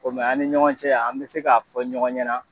O kuman a ni ɲɔgɔn cɛ y'an bɛ se k'a fɔ ɲɔgɔn ɲɛna.